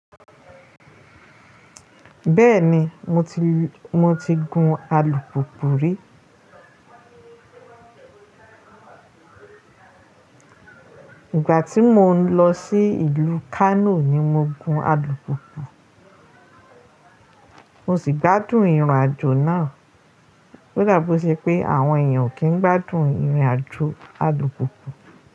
Bẹ́ẹ̀ni, mo ti gun alùpùpù rí. Ìgbà tí mò ń lọ sí ìlú Kano ni mo gun alùpùpù. Mo sì gbádùn ìrìn àjò náà. Ó dàbọ̀ ṣe pé àwọn èèyàn kì í gbádùn ìrìn àjò alùpùpù.